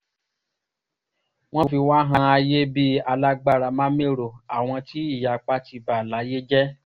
wọ́n fi wá han ayé bí alágbára-má-mẹ́rọ àwọn tí ìyapa ti bà láyé jẹ́